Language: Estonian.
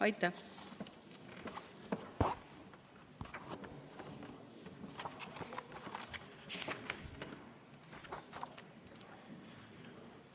Aitäh!